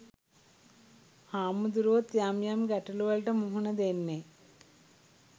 හාමුදුරුවොත් යම් යම් ගැටලු වලට මුහුණ දෙන්නේ